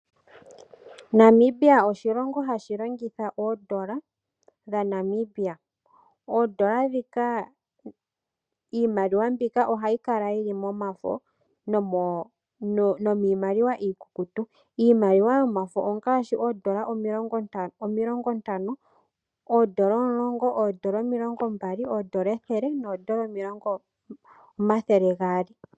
Namibia oshilongo hashi longitha oondola dha Namibia, oondola dhika, iimaliwa mbika ohayi kala yili momafo nomiimaliwa iikukutu, iimaliwa yomafo ongaashi oondola omilongo ntano, oondola omulongo, oondola omilongo mbali, oondola ethele noondola omathele gaali.